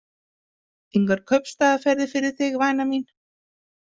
Engar kaupstaðaferðir fyrir þig, væna mín.